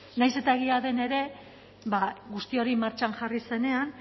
nahiz eta egia den ere ba guzti hori martxan jarri zenean